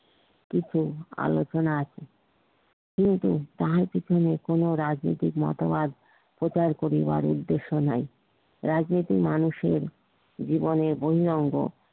কিন্তু আলোচনা এর কিন্তু তাহার পিছনে কোন রাজনীতিক মতবাদ প্রচার করিবার উদ্দেশ্য নাই রাজনীতিক মানুষের জীবনের বহিরাঙ্গ